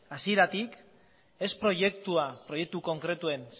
hasieratik ez proiektua proiektu konkretuen